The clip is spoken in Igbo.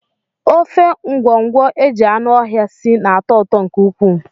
Ofe ngwọngwọ e ji anụ ọhịa sie na-atọ ụtọ nke ukwuu